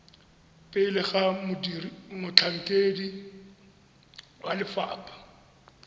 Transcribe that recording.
pele ga motlhankedi wa lefapha